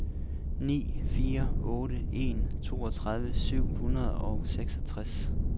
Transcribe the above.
ni fire otte en toogtredive syv hundrede og seksogtres